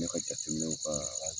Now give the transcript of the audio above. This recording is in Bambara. Ne ka jateminɛ o ka